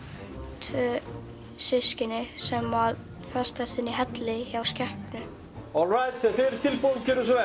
tvö systkini sem festast inn í helli hjá skepnu þegar þið eruð tilbúin gjörið svo